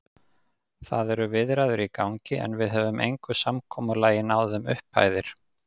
Það eru viðræður í gangi, en við höfum engu samkomulagi náð um upphæðir.